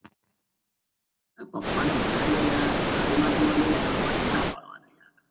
તો પપ્પા ને મનાઈ લો યાર ગાડી માટે માની ગયા તો આમાં ક્યા નાં પાડવા નાં